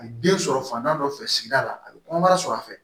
A ye den sɔrɔ fantan dɔ fɛ sigida la a bɛ kɔnɔbara sɔrɔ a fɛ